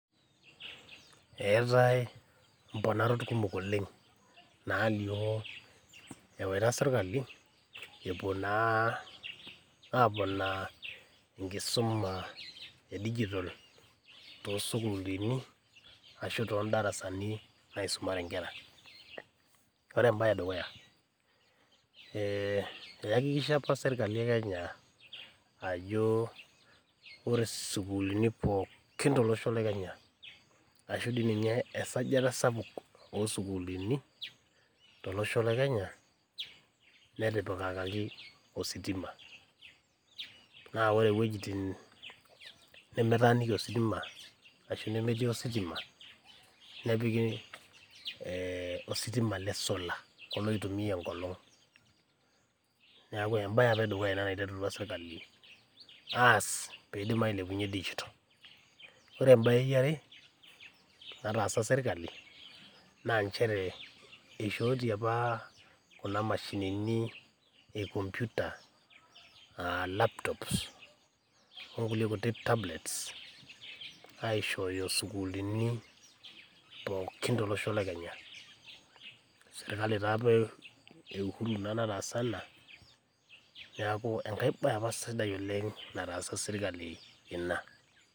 Eetai imponarot kumok oleng' naalio epuo naa serkali epuo naa aponaa enkisuma e digital toosukulini ashuu toondarasani naisumare inkera ore embaye edukuya eeakikisha apa dukuya imbaa kumok te kenya eesata oosukuliini tolosho le kenya netipikaki ositima naa ore ewueji nimitaaniki ositima nepiki ee ositima le sol kulo oitumiya enkolong neeku embaye apa ina nataasha serkali ore embaye yare nataasa serkali naa inchere esishootie apa kuna mashinini e computer aishooyo isukuulini pookin tolosho lekenya serkali taa eu Uhuru nataasa ina neeku enkae baye apa sidai nataasa serkali ina.